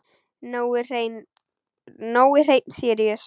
Nói Hreinn Síríus.